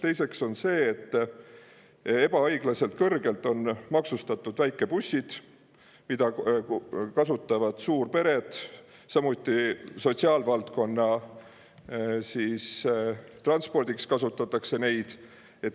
Teiseks, ebaõiglaselt kõrgelt on maksustatud väikebussid, mida kasutavad suurpered, samuti kasutatakse neid transpordiks sotsiaalvaldkonnas.